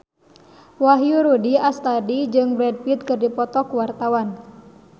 Wahyu Rudi Astadi jeung Brad Pitt keur dipoto ku wartawan